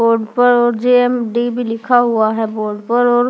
board पर और J M D भी लिखा हुआ है बोर्ड पर और --